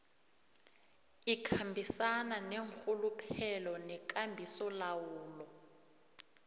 ikhambisana neenrhuluphelo nekambisolawulo